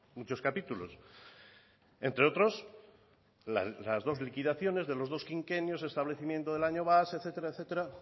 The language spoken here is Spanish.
muchos capítulos entre otros las dos liquidaciones de los dos quinquenios establecimiento del año base etcétera